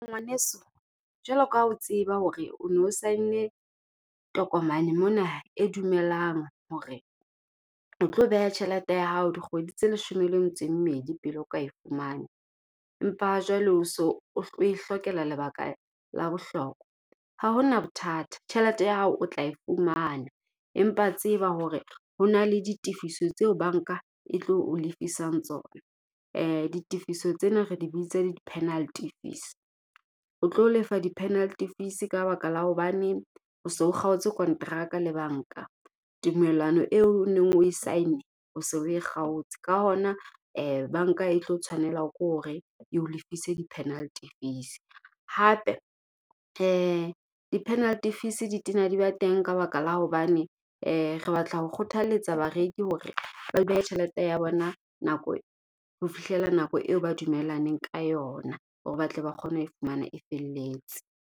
Ngwaneso jwalo ka ha o tseba hore o no sign-ne tokomane mona e dumelang hore o tlo beha tjhelete ya hao dikgwedi tse leshome le metso e mmedi pele o ka e fumane. Empa ha jwale o so oe hlokela lebaka la bohlokwa. Ha ho na bothata tjhelete ya hao o tla e fumana, empa tseba hore ho na le ditefiso tseo banka e tlo o lefisang tsona. Ditifiso tsena re di bitsa le di-penalty fees. O tlo lefa di-penalty fees ka baka la hobane o so o kgaotse konteraka le banka, tumellano eo neng o sign-ne o se e kgaotse. Ka hona banka e tlo tshwanelwa ke hore eo lefise di-penalty fees. Hape di-penalty fees di tena di ba teng ka baka la hobane re batla ho kgothaletsa bareki hore ba behe tjhelete ya bona nako ho fihlela nako eo ba dumellaneng ka yona. Hore ba tle ba kgone ho fumana e felletse.